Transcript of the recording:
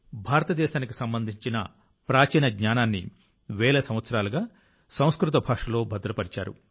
భారతదేశానికి సంబంధించిన ప్రాచీన జ్ఞానాన్ని వేల సంవత్సరాలుగా సంస్కృత భాషలో భద్రపర్చారు